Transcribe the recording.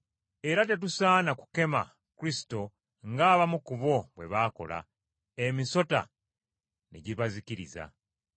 Era tetusaana kukema Kristo ng’abamu ku bo bwe baakola, emisota ne gibazikiriza.